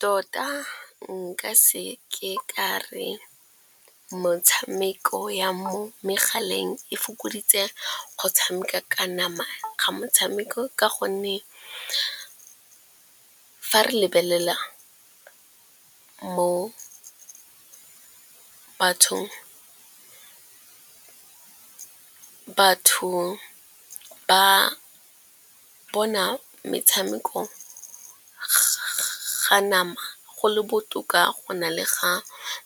Tota nka seke ka re motshameko ya mo megaleng e fokoditse go tshameka ka nama ga motshameko. Ka gonne fa re lebelela mo bathong, batho ba bona metshameko ga nama go le botoka go na le ga